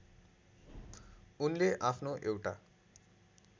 उनले आफ्नो एउटा